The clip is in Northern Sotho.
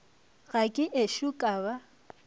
ga ke ešo ka ba